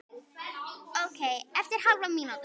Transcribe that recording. Ókei eftir hálfa mínútu.